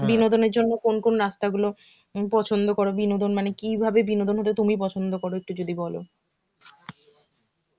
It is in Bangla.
বিনোদনের জন্য কোন কোন রাস্তা গুলো উম পছন্দ করো বিনোদন মানে কিভাবে বিনোদন হতে তুমি পছন্দ করো একটু যদি বলো.